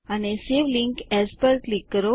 અને save link as પર click કરો